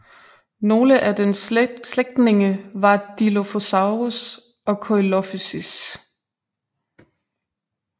Nogle af dens slægtninge var Dilophosaurus og Coelophysis